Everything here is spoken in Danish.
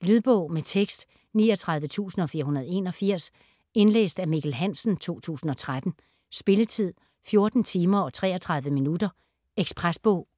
Lydbog med tekst 39481 Indlæst af Mikkel Hansen, 2013. Spilletid: 14 timer, 33 minutter. Ekspresbog